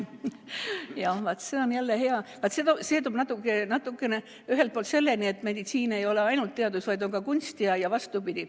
Jaa, vaat see on jälle hea küsimus, aga see toob meid ühelt poolt selleni, et meditsiin ei ole ainult teadus, vaid on ka kunst, ja vastupidi.